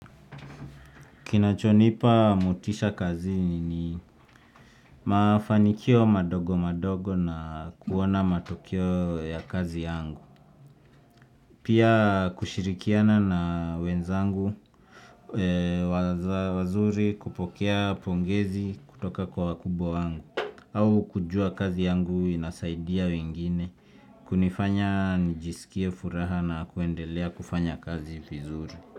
Kinachonipa motisha kazi ni mafanikio madogo madogo na kuona matokeo ya kazi yangu. Pia kushirikiana na wenzangu wazuri kupokea pongezi kutoka kwa wakubwa wangu au kujua kazi yangu inasaidia wengine hunifanya nijisikie furaha na kuendelea kufanya kazi vizuri.